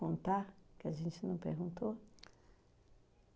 contar, que a gente não perguntou?